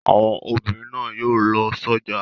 Àwọn obìnrin náà yóò lọ sọ́jà.